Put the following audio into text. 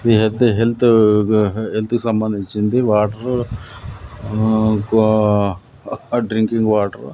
ఇది అయితే health health కి సంబంధించింది వాటర్ ఆ వా డ్రింకింగ్ వాటర్ .